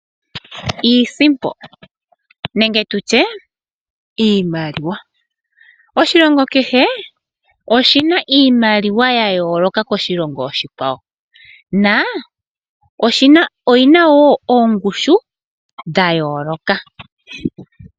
Iisimpo nenge tutye iimaliwa. Oshilongo kehe oshina iimaliwa ya yooloka koshilongo oshikwawo, na oyina wo oongushu dha yooloka.